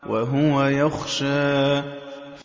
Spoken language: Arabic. وَهُوَ يَخْشَىٰ